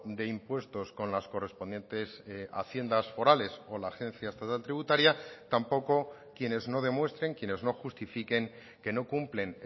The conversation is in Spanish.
de impuestos con las correspondientes haciendas forales o la agencia estatal tributaria tampoco quienes no demuestren quienes no justifiquen que no cumplen